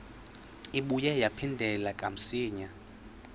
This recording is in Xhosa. ibuye yaphindela kamsinya